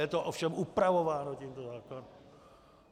Je to ovšem upravováno tímto zákonem.